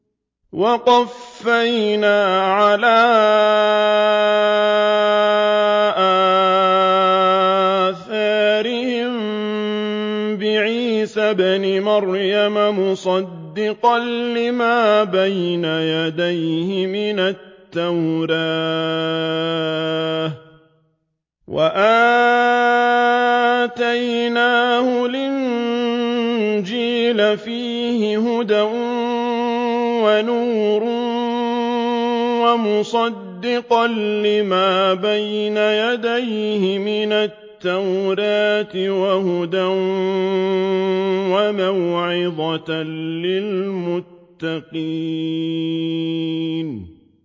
وَقَفَّيْنَا عَلَىٰ آثَارِهِم بِعِيسَى ابْنِ مَرْيَمَ مُصَدِّقًا لِّمَا بَيْنَ يَدَيْهِ مِنَ التَّوْرَاةِ ۖ وَآتَيْنَاهُ الْإِنجِيلَ فِيهِ هُدًى وَنُورٌ وَمُصَدِّقًا لِّمَا بَيْنَ يَدَيْهِ مِنَ التَّوْرَاةِ وَهُدًى وَمَوْعِظَةً لِّلْمُتَّقِينَ